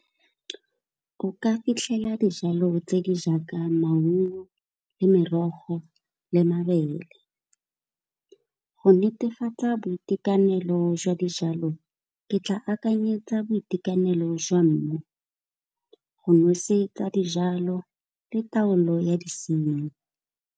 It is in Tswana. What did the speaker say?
O ka fitlhela dijalo tse di jaaka maungo le merogo le mabele, go netefatsa boitekanelo jwa dijalo ke tla akanyetsa boitekanelo jwa mmu, go nosetsa dijalo le taolo ya disenyi.